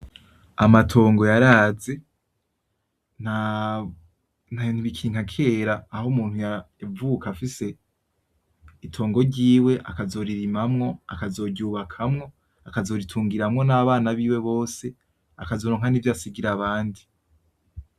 Amatongo yaraze, nta , ntibikiri nka kera aho umuntu yavuka afise itongo ryiwe akaziririmamwo, akazoryubakamwo, akazoritungiramwo n'abana biwe bose akazoronka nivyo asigira abandi .